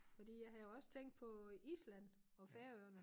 Fordi jeg havde også tænkt på øh Island og Færøerne